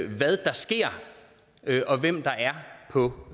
hvad der sker og hvem der er på